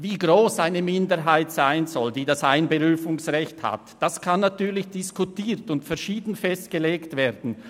Wie gross eine Minderheit sein soll, die das Einberufungsrecht hat, kann natürlich diskutiert und verschieden festgelegt werden.